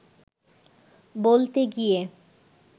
বলতে গিয়ে